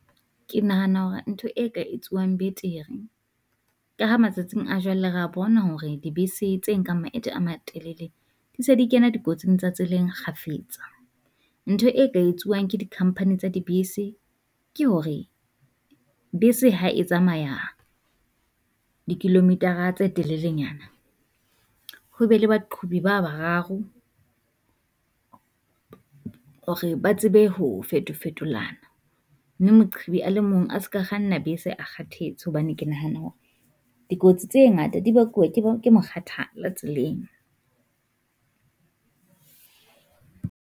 Ke nahana hore ntho e ka etsuwang betere ka matsatsing a jwale rea bona hore dibese tse nkang maeto a matelele, ntse di kena dikotsi tsa tseleng kgafetsa. Ntho e ka etsuwang ke di company tsa dibese ke hore bese ha e tsamaya di kilometer-ra tse telelenyana, ho be le baqhubi ba bararo, hore ba tsebe ho feto fetolana. Mme moqhubi a le mong a se ka kganna bese a kgathetse, hobane ke nahana hore dikotsi tse ngata di bakuwa ke bo ke mokgathala tseleng.